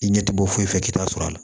I ɲɛ tɛ bɔ foyi fɛ k'i ta sɔrɔ a la